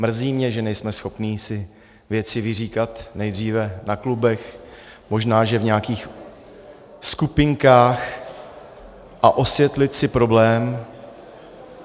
Mrzí mě, že nejsme schopni si věci vyříkat nejdříve na klubech, možná že v nějakých skupinkách, a osvětlit si problém.